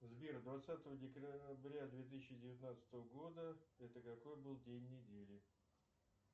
сбер двадцатого декабря две тысячи девятнадцатого года это какой был день недели